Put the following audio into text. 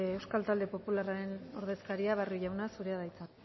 euskal talde popularraren ordezkaria barrio jauna zurea da hitza